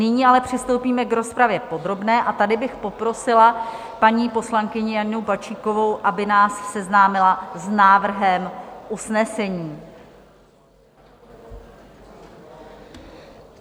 Nyní ale přistoupíme k rozpravě podrobné, a tady bych poprosila paní poslankyni Janu Bačíkovou, aby nás seznámila s návrhem usnesení.